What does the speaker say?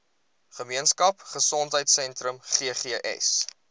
gemeenskap gesondheidsentrum ggs